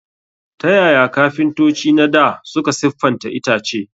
Ta yaya kafintoci na dā suka siffata itace?